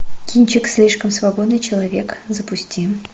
кинчик слишком свободный человек запусти